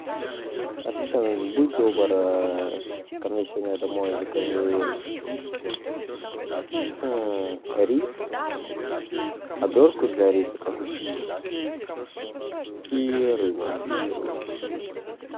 ассистент будь добр ко мне сегодня домой закажи рис обертку для риса как у суши и рыбу сырую